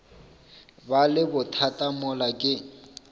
ba le bothata mola ke